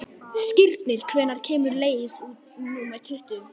Skírnir, hvenær kemur leið númer tuttugu?